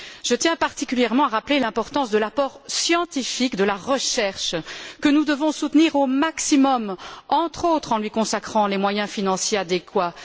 je tiens particulièrement à rappeler l'importance de l'apport scientifique de la recherche, que nous devons soutenir au maximum, entre autres en lui consacrant les moyens financiers adéquats.